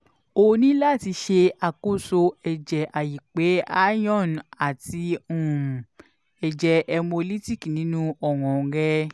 o ni lati ṣe akoso ẹjẹ aipe iron ati um ẹjẹ hemolytic ninu ọran rẹ